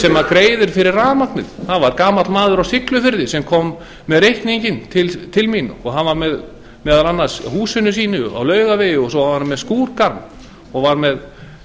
greiðir fyrir rafmagnið það var gamall maður á siglufirði sem kom með reikninginn til mín og hann var með meðal annars húsinu sínu á laugavegi og svo var hann með skrúðgarð og var með